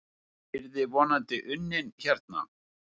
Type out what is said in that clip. Hann yrði vonandi unnin hérna.